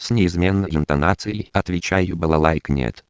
с неизменной интонацией отвечаю балалайка